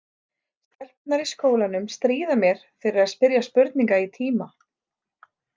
Stelpurnar í skólanum stríða mér fyrir að spyrja spurninga í tíma.